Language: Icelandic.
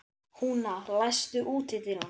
Húna, læstu útidyrunum.